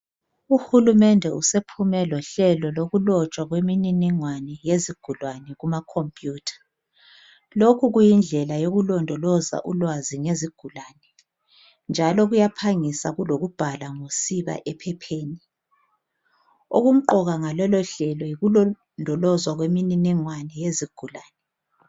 Uhulumende usephume lohlelo lokulotshwa kwemininingwana yezigulani kuma khompiyutha. Lokhu kuyindlela yokulindoloza ulwazi ngezigulani njalo kuyaphangisa kulokubhala ngosiba ephepheni. Okumqoka ngalolohlelo yikulondolozwa kwemininingwane yezigulani.